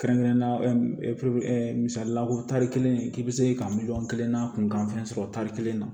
Kɛrɛnkɛrɛnnenya misalila ko tari kelen k'i bɛ se ka miliyɔn kelen n'a kun kan fɛn sɔrɔ tari kelen na